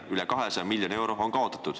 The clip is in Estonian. Üle 200 miljoni euro on kaotatud.